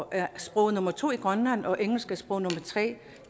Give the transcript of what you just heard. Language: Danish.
er sprog nummer to i grønland og engelsk er sprog nummer tre